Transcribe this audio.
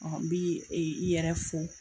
N bi i yɛrɛ fo